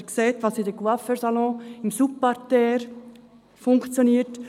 Sie sehen, was im Coiffeur-Salon im Souterrain geschieht.